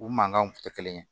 U mankanw tun tɛ kelen ye